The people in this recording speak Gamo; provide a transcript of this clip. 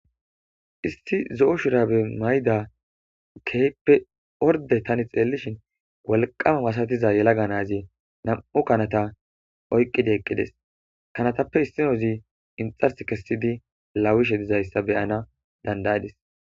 Issi zo7o shurabe mayda keyppe orde tani xeellishin walqama wasatiza yelaga nazi nam7u kanata oyqqidi eqqides kanatappe issinozi inxars kessidi laawishe dizayssa beyana dandayadis